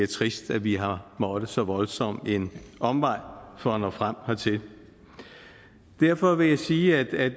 trist at vi har måttet ad så voldsom en omvej for at nå frem hertil derfor vil jeg sige at